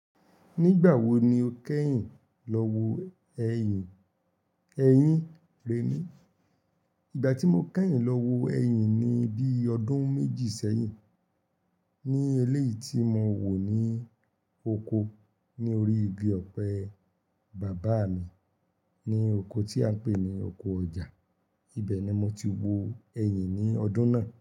Nígbà wo ni o kẹ́yìn lọ wo ẹyìn? Eyín rẹ ni. Ìgbà tí mo kẹ́yìn lọ wo ẹyìn ni bíi ọdún méjì sẹ́yìn ní eléyìí tí mo wò ní oko ní orí igi ọ̀pẹ bàbá mi ní oko tí a ń pè ní oko ọjà. Ibẹ̀ ni mo ti wo ẹyìn ní ọdún náà.